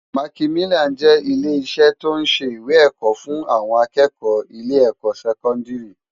Mákimilán jè ilé isè tó n sé iwé èkò fun áwòn ákëkò ilè èkò sèkòndári